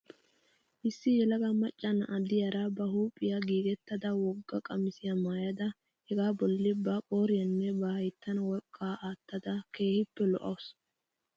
Issi yelaga macca na'a diyaara ba huuphphiyaa giigettada wogga qamisiyaa maayada hegaa bolla ba qooriyaanenne ba hayttan worqqaa aattada keehippe lo'awusu.